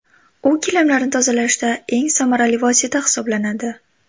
U gilamlarni tozalashda eng samarali vosita hisoblanadi.